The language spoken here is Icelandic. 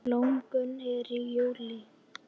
Blómgun er í júlí.